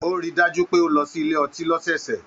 O ríi dájú pé o lọ sílé ọtí lọ́sọọsẹ̀.